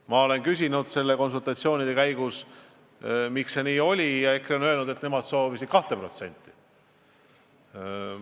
Ma olen küsinud konsultatsioonide käigus, miks see nii oli, ja nad ütlesid, et nemad soovisid 2%.